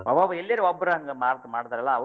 ಎಲ್ಲರಾ ಒಬ್ಬರ್ ಹಂಗ ಮಾಡ್ತರ್ಲ್ಯಾ,